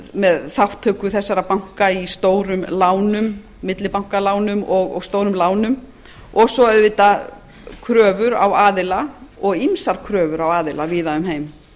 með þátttöku þessara banka í stórum lánum millibankalánum og stórum lánum og svo auðvitað kröfur á aðila og ýmsar kröfur á aðila víða um heim